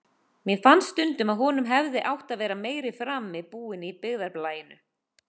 Mér fannst stundum að honum hefði átt að vera meiri frami búinn í byggðarlaginu.